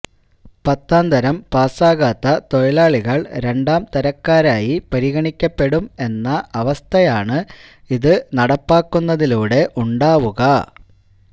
പത്താംതരം പാസാകാത്ത തൊഴിലാളികൾ രണ്ടാംതരക്കാരായി പരിഗണിക്കപ്പെടും എന്ന അവസഥയാണ് ഇത് നടപ്പാക്കുന്നതിലൂടെ ഉണ്ടാവുക